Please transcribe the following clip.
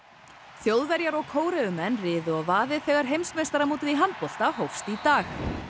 Þjóðverjar og Kóreumenn riðu á vaðið þegar heimsmeistaramótið í handbolta hófst í dag